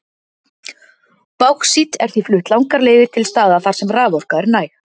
Báxít er því flutt langar leiðir til staða þar sem raforka er næg.